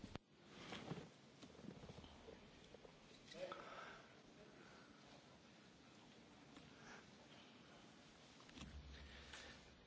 Tak jak powiedziałem, wydaje mi się, że pomijając bardzo długą perspektywę w tej chwili koszyk energetyczny jest w kompetencji państw członkowskich